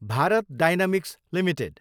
Bharat dynamics Ltd